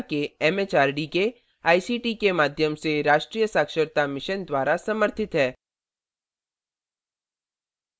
यह भारत सरकार के एमएचआरडी के आईसीटी के माध्यम से राष्ट्रीय साक्षरता mission द्वारा समर्थित है